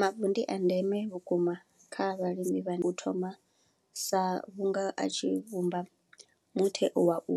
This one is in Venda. Mavu ndi a ndeme vhukuma kha vhalimi vhane u thoma sa vhunga a tshi vhumba muthe wa u